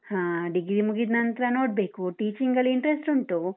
ಹ, degree ಮುಗಿದ್ನಂತ್ರ ನೋಡ್ಬೇಕು teaching ಲ್ಲಿ interest ಉಂಟು.